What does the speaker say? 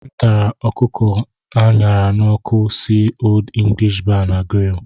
M tara ọkụkọ a ṅara n'ọkụ si Old English Bar na Grill.